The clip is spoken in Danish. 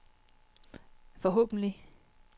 forhåbentlig